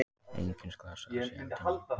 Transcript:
Enginn slasaðist í eldinum